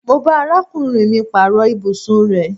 Mo bá arákùnrin mì paaro ibùsùn rẹ